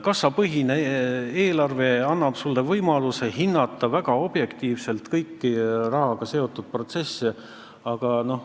Kassapõhine eelarve annab sulle võimaluse väga objektiivselt kõiki rahaga seotud protsesse hinnata.